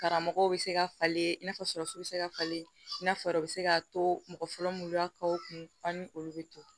Karamɔgɔw bɛ se ka falen i n'a fɔ surasi bɛ se ka falen i n'a fɔ o bɛ se ka to mɔgɔ fɔlɔ muluya kaw kun ani olu bɛ to